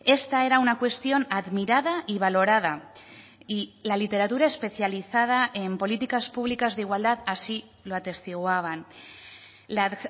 esta era una cuestión admirada y valorada y la literatura especializada en políticas públicas de igualdad así lo atestiguaban la